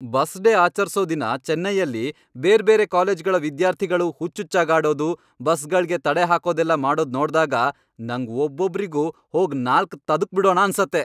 Bus day ಆಚರ್ಸೋ ದಿನ ಚೆನ್ನೈಯಲ್ಲಿ ಬೇರ್ಬೇರೆ ಕಾಲೇಜ್ಗಳ ವಿದ್ಯಾರ್ಥಿಗಳು ಹುಚ್ಚುಚ್ಚಾಗಾಡೋದು, ಬಸ್ಗಳ್ಗೆ ತಡೆಹಾಕೋದೆಲ್ಲ ಮಾಡೋದ್ ನೋಡ್ದಾಗ ನಂಗ್ ಒಬ್ಬೊಬ್ರಿಗೂ ಹೋಗ್ ನಾಲ್ಕ್ ತದುಕ್ಬಿಡೋಣ ಅನ್ಸತ್ತೆ.